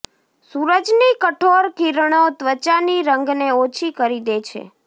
સૂરજની કઠોર કિરણો ત્વચાની રંગને ઓછી કરી દે છે